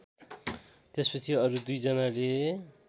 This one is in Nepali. त्यसपछि अरु दुईजनाले